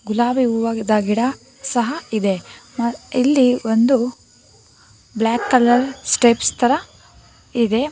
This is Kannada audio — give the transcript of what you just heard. ಗುಲಾಬಿ ಹೂವ ಆಗಿದಾಗಿದ ಗಿಡ ಸಹ ಇದೆ ಮ ಇಲ್ಲಿ ಒಂದು ಬ್ಲಾಕ್ ಕಲರ್ ಸ್ಟೆಪ್ಸ್ ತರ ಇದೆ.